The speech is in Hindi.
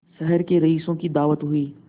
शहर के रईसों की दावत हुई